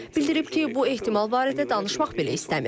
Bildirib ki, bu ehtimal barədə danışmaq belə istəmir.